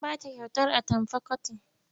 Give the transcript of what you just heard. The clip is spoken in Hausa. Sun ba ta kyautar atamfa kotin.